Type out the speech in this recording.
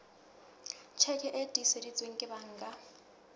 tjheke e tiiseditsweng ke banka